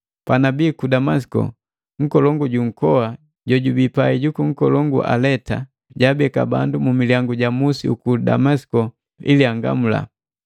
Panabii ku Damasiko nkolongu ju nkoa jojubii pai ju nkolongu Aleta, jabeka bandu mumilyangu ja musi uku Damasiko ili angamula.